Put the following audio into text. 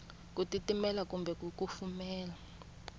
ku titimela kumbe ku kufumela